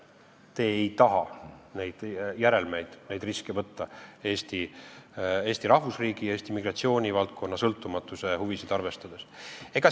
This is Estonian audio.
Te ei taha neid järelmeid, neid riske võtta Eesti rahvusriigi, Eesti migratsioonivaldkonna sõltumatuse huvisid arvestades.